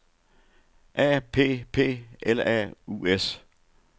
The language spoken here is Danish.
A P P L A U S